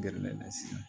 Gɛrɛlen na sisan